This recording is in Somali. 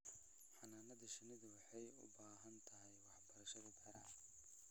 Xannaanada shinnidu waxay u baahan tahay waxbarashada beeraha.